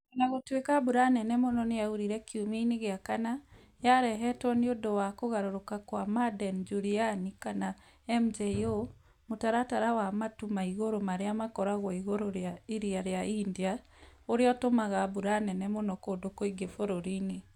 O na gũtuĩka mbura nene mũno nĩyaurire kiumia-inĩ gĩa kana, yarehetwo nĩ ũndũ wa kũgarũrũka kwa Madden-Julian (MJO), mũtaratara wa matu ma igũrũ marĩa makoragwo igũrũ rĩa Iria rĩa India, ũrĩa ũtũmaga mbura nene mũno kũndũ kũingĩ bũrũri-inĩ.